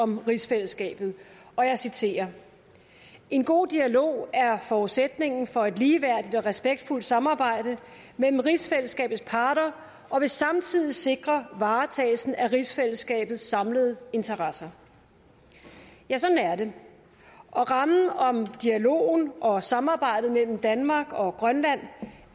om rigsfællesskabet og jeg citerer en god dialog er forudsætningen for et ligeværdigt og respektfuldt samarbejde mellem rigsfællesskabets parter og vil samtidig sikre varetagelsen af rigsfællesskabets samlede interesser ja sådan er det og rammen om dialogen og samarbejdet mellem danmark og grønland